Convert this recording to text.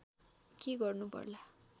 के गर्नु पर्ला